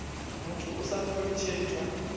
motho o sa tlo ntšhetšwa